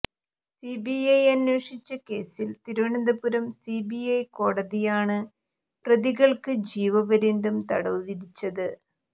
CBI അന്വേഷിച്ച കേസിൽ Thiruvananthapuram CBI കോടതിയാണ് പ്രതികൾക്ക് ജീവപര്യന്തം തടവു വിധിച്ചത്